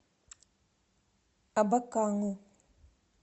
абакану